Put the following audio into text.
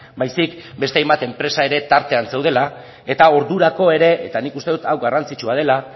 baizik ere beste hainbat enpresa ere tartean zeudela eta ordurako ere eta nik uste dut hau garrantzitsua dela